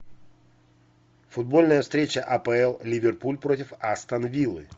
футбольная встреча апл ливерпуль против астон виллы